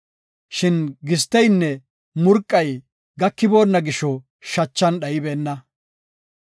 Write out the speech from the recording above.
Shin gisteynne murqay gakiboonna gisho shachan dhaybeenna.